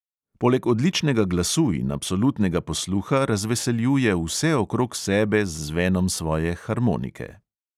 Poleg odličnega glasu in absolutnega posluha razveseljuje vse okrog sebe z zvenom svoje harmonike.